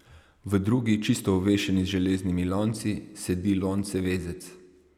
V drugi, čisto ovešeni z železnimi lonci, sedi loncevezec.